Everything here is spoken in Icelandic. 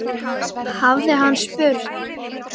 hafði hann spurt.